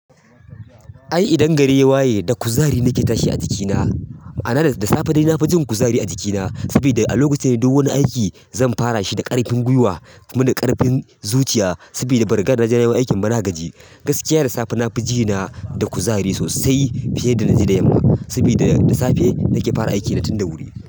Ai idan gare waye da kuzari nake tashi a jikina, ana da safe dai na fi jin kuzari a jikina saboda a lokacin dai duk wani aiki zan fara shi da ƙarfin gwiwa kuma da ƙarfin zuciya saboda bari gada na jan wani aikin ba na gaji. Gaskiya da safe na fi jina da kuzari sosai fiye da na ji da yamma saboda da safe nake fara aiki na tun da wuri.